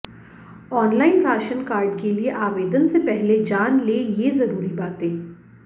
online ration card के लिए आवेदन से पहले जान लें ये जरूरी बातें